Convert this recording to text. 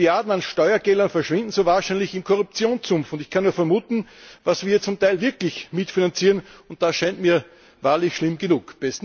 Milliarden an Steuergeldern verschwinden so wahrscheinlich im Korruptionssumpf, und ich kann nur vermuten, was wir zum Teil wirklich mitfinanzieren, und das scheint mir wahrlich schlimm genug.